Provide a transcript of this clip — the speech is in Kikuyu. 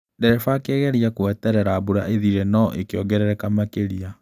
Ndereba akĩgeria gweterera mbura ĩthire, no ĩkĩongerereka makĩria